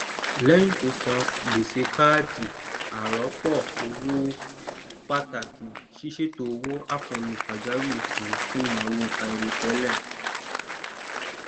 lẹyìn tó san gbèsè káàdì arọpọ owó ó pàtàkì sísètò owó àkànlò pàjáwìrì kan fún ìnáwó àìròtẹlẹ